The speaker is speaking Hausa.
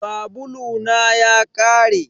Sabulu na ya ƙare.